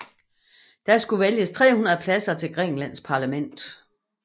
Der skulle vælges 300 pladser til Grækenlands parlament